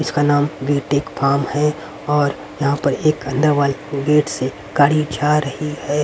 इसका नाम BTech form है और यहां पर एक अंदर वाल गेट से गाड़ी जा रही है।